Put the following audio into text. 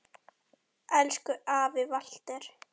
Elsku afi Walter.